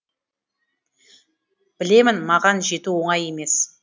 білемін маған жету оңай емес